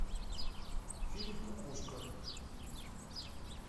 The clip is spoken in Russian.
фильм кукушка